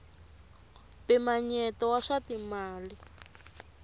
mpimanyeto wa swa timali